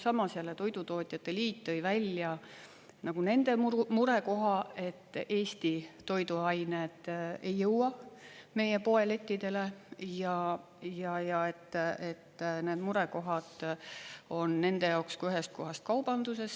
Samas jälle toidutootjate liit tõi välja nende murekoha, et Eesti toiduained ei jõua meie poelettidele ja et need murekohad on nende jaoks kui ühest kohast kaubanduses.